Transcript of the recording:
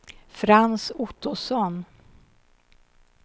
Frans Ottosson